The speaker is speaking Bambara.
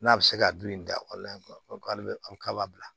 N'a bɛ se ka bilen da k'ale bɛ a k'a b'a bila